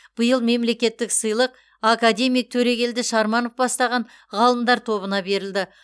биыл мемлекеттік сыйлық академик төрегелді шарманов бастаған ғалымдар тобына берілді